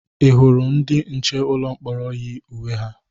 Ị hụrụ ndị nche ụlọ mkpọrọ yi uwe ha?